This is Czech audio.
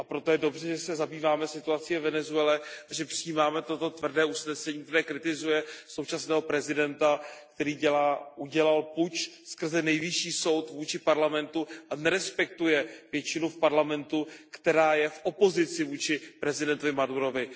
A proto je dobře, že se zabýváme situací ve Venezuele a že přijímáme toto tvrdé usnesení, které kritizuje současného prezidenta, který udělal puč skrze nejvyšší soud vůči parlamentu a nerespektuje většinu v parlamentu, která je v opozici vůči prezidentovi Madurovi.